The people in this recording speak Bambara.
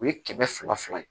U ye kɛmɛ fila fila ye